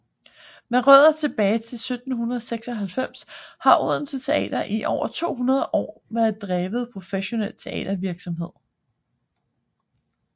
Med rødder tilbage til 1796 har Odense Teater i over 200 år drevet professionel teatervirksomhed